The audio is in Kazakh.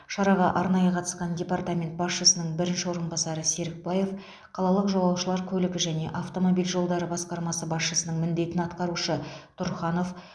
шараға арнайы қатысқан департамент басшысының бірінші орынбасары серікбаев қалалық жолаушылар көлігі және автомобиль жолдары басқармасы басшысының міндетін атқарушы тұрханов